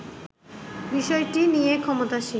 বিষয়টি নিয়ে ক্ষমতাসীন